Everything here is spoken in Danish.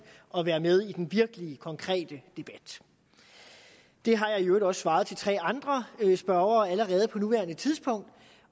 og vær med i den virkelige konkrete debat det har jeg i øvrigt også svaret de tre andre spørgere på nuværende tidspunkt